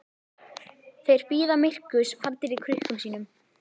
Þeir bíða myrkurs faldir í krukkum sínum.